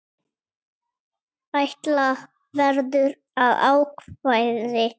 Ætla verður að ákvæði